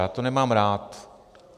Já to nemám rád.